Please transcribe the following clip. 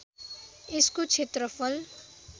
यसको क्षेत्रफल